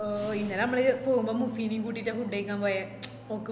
ഓ പിന്ന നമ്മള് പോവുമ്പോ മുസിനേം കൂട്ടിറ്റ food കൈക്കാൻ പോയെ ഓക്ക്